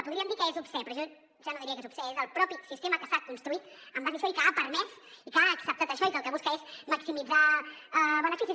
podríem dir que és obscè però jo ja no diria que és obscè és el propi sistema que s’ha construït en base a això i que ha permès i que ha acceptat això i que el que busca és maximit·zar beneficis